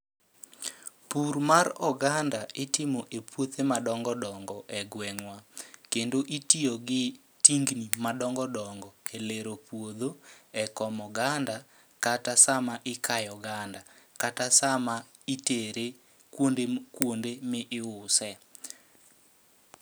Pur mar oganda itimo e puothe ma dongo dongo e gweng'wa. Kendo itiyo gi tingni ma dongo dongo e lero puodho, e komo oganda. Kata sama ikayo oganda, kata sama itere kuonde kuonde mi iuse.